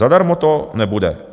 Zadarmo to nebude.